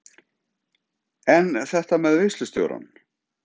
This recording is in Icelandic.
En þetta með veislustjórann?